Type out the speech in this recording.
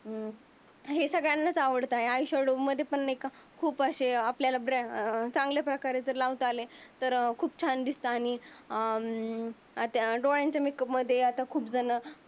हे सगळ्यांनास आवडतात. आय शाडो मध्ये पण मेकअप. खूप अशे आपल्याला ब्रा अं चांगल्या प्रकारे जर लावता आले. खूप छान दिसतो आणि अं आ त्या डोळ्यांच्या मेकअप मध्ये खूप झण